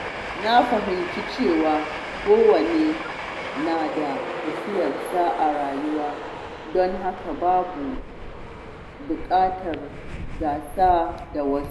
Na lura cewa kowa yana da tafiyarsa a rayuwa, don haka babu buƙatar gasa da wasu.